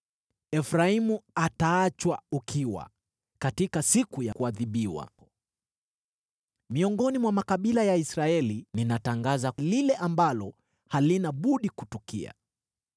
Efraimu ataachwa ukiwa katika siku ya kuadhibiwa. Miongoni mwa makabila ya Israeli ninatangaza lile ambalo halina budi kutukia.